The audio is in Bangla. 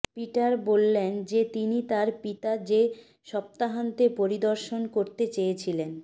পিটার বলেন যে তিনি তার পিতা যে সপ্তাহান্তে পরিদর্শন করতে চেয়েছিলেন